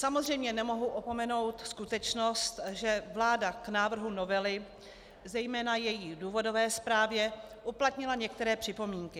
Samozřejmě nemohu opomenout skutečnost, že vláda k návrhu novely, zejména její důvodové zprávě, uplatnila některé připomínky.